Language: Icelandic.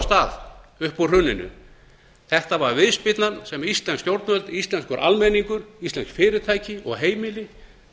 stað upp úr hruninu þetta er viðspyrnan sem íslensk stjórnvöld íslenskur almenningur íslensk fyrirtæki og heimili